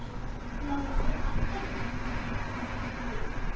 Lára: Af hverju?